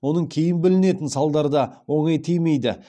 оның кейін білінетін салдары да оңай тимейді